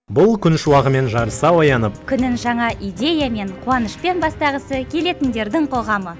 бұл күн шуағымен жарыса оянып күнін жаңа идеямен қуанышпен бастағысы келетіндердің қоғамы